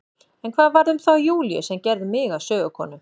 En hvað varð um þá Júlíu sem gerði mig að sögukonu?